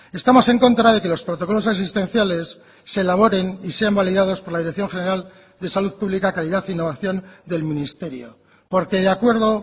estamos en contra de que los protocolos asistenciales se elaboren y sean validados por la dirección general de salud pública calidad e innovación del ministerio porque de acuerdo